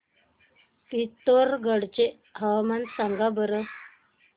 पिथोरगढ चे हवामान सांगा बरं